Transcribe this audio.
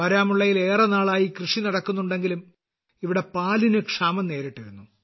ബാരാമുള്ളയിൽ ഏറെ നാളായി കൃഷി നടക്കുന്നുണ്ടെങ്കിലും ഇവിടെ പാലിന് ക്ഷാമം നേരിട്ടിരുന്നു